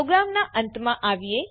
પ્રોગ્રામનાં અંતમાં આવીએ